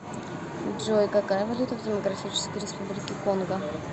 джой какая валюта в демократической республике конго